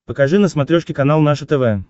покажи на смотрешке канал наше тв